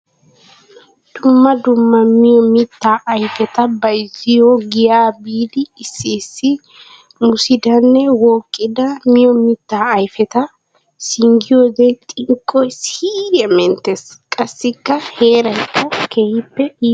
Dumma dumma miyo mitta ayfetta bayzziyo giya biidi issi issi mussidanne wooqidda miyo mitta ayfetta singgiyodde xinqqoy siiriya menttes! Qassikka heerayikka keehippe iittes.